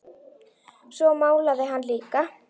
Svo málaði hann líka.